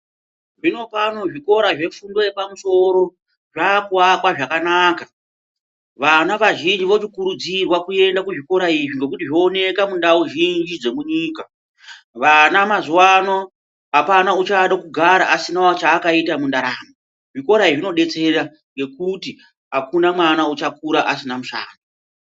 Zvinopano zvikora zvefundo yapamusoro zvakuwakwa zvakanaka vana vazhinji votokurudzirwa kuenda kuzvikora izvi ngokuti zvooneka mundau zhinji dzomunyika. Vana mazuwano apana uchada kugara asinawo chaakaita mundaramo zvikora izvi zvinodetsera ngokuti akuna mwana uchakura asina mushando.